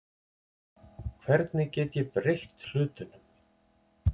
Hvernig get ég breytt hlutunum?